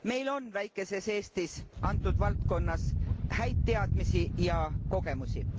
Meil on väikeses Eestis antud valdkonnas häid teadmisi ja kogemusi.